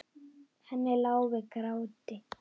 Henni lá við gráti.